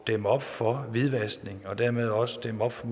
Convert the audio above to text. dæmme op for hvidvaskning og dermed også dæmme op for